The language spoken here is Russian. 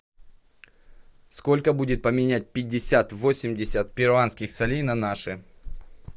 сколько будет поменять пятьдесят восемьдесят перуанских солей на наши